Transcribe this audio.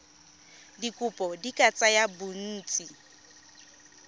dikopo di ka tsaya bontsi